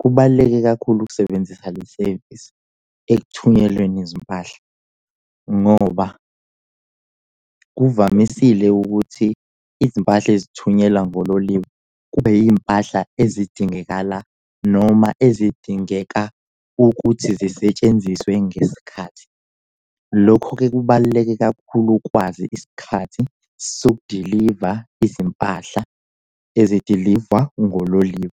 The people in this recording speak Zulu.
Kubaluleke kakhulu ukusebenzisa le sevisi ekuthunyelweni izimpahla, ngoba kuvamisile ukuthi izimpahla ezithunyelwa ngololimi kube iy'mpahla ezidingekala noma ezidingeka ukuthi zisetshenziswe ngesikhathi. Lokho-ke kubaluleke kakhulu ukwazi isikhathi sokudiliva izimpahla ezidilivwa ngoliwa.